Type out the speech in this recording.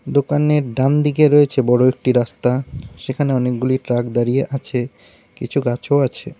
দোকানের ডান দিকে রয়েছে বড় একটি রাস্তা সেখানে অনেকগুলি ট্রাক দাঁড়িয়ে আছে কিছু গাছও আছে।